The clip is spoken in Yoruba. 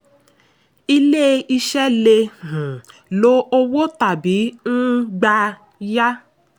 ilé-iṣẹ́ lè um lo owó tàbí um gbà yá.